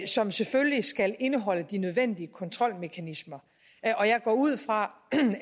som selvfølgelig skal indeholde de nødvendige kontrolmekanismer og jeg går ud fra